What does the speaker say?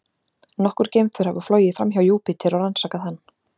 Nokkur geimför hafa flogið framhjá Júpíter og rannsakað hann.